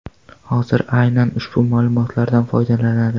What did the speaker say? Hozir aynan ushbu ma’lumotlardan foydalanadi.